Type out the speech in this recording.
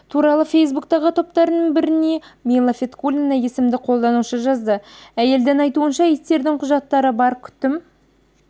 туралы фейсбуктағы топтарың біріне мила фаткуллина есімді қолданушы жазды әйелдің айтуынша иттердің құжаттары бар күтім